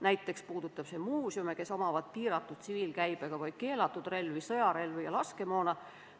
Näiteks puudutab see muuseume, kes omavad piiratud tsiviilkäibega või keelatud relvi, sõjarelvi ja laskemoona.